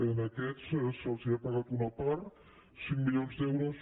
a aquests se’ls ha pagat una part cinc milions d’euros